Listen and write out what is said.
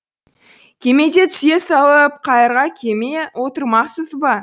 кемеде түсе салып қайыра кеме отырмақсыз ба